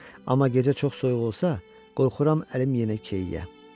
Amma gecə çox soyuq olsa, qorxuram əlim yenə keyiyə.